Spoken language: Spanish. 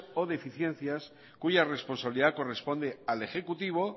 o deficiencias cuya responsabilidad corresponde al ejecutivo